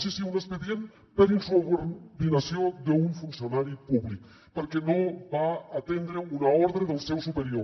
sí sí un expedient per insubordinació d’un funcionari públic perquè no va atendre una ordre del seu superior